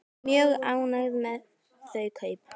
Mjög ánægð með þau kaup.